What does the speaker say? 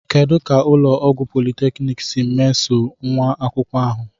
Kedu ka ụlọ ọgwụ polytechniki si meso nwa akwụkwọ ahụ?